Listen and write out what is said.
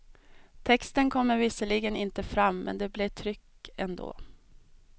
Texten kommer visserligen inte fram, men det blir tryck ändå.